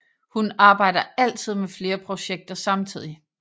Hun arbejder altid med flere projekter samtidig